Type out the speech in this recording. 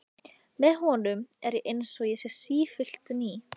Með honum er ég einsog ég sé sífellt ný.